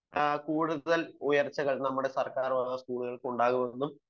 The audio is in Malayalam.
കൂടുതൽ ഉയർച്ചകൾ നമ്മുടെ സർക്കാർ സ്കൂളുകൾക്ക് ഉണ്ടാകുമെന്നും